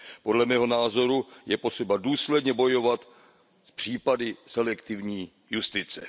Podle mého názoru je potřeba důsledně bojovat s případy selektivní justice.